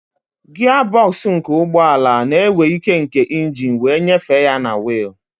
Gia bọksụ nke ụgbọ ala na-ewe ike nke engine wee nyefee ya na wiili.